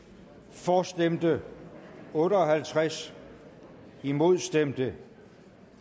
for stemte otte og halvtreds imod stemte